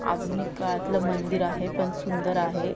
आधुनिक काळतल मंदिर आहे. पण सुंदर आहे.